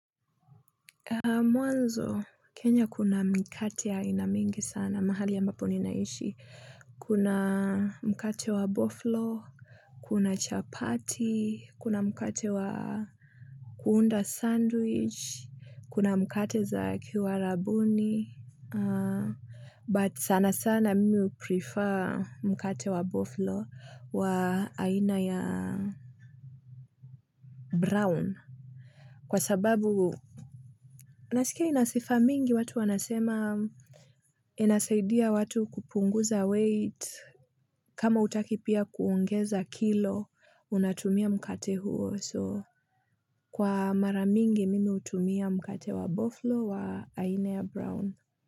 Mwanzo, Kenya kuna mikate ya aina mingi sana, mahali ambapo ninaishi. Kuna mkate wa boflo, kuna chapati, kuna mkate wa kuunda sandwich, kuna mkate za kiwarabuni, but sana sana mimi huprefer mkate wa boflo wa aina ya brown. Kwa sababu nasikia inasifa mingi watu wanasema inasaidia watu kupunguza weight kama hutaki pia kuongeza kilo unatumia mkate huo so Kwa mara mingi mimi hutumia mkate wa boflo wa aina ya brown.